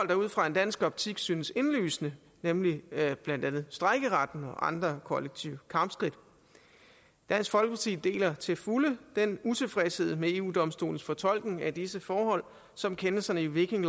der ud fra en dansk optik synes indlysende nemlig blandt andet strejkeretten og andre kollektive kampskridt dansk folkeparti deler til fulde den utilfredshed med eu domstolens fortolkning af disse forhold som kendelserne i viking